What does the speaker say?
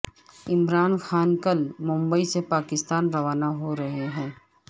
عمران خان کل ممبئی سے پاکستان کے لیے روانہ ہو رہے ہیں